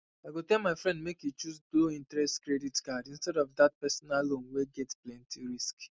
i go tell my friend make e choose lowinterest credit card instead of that personal loan wey get plenty risk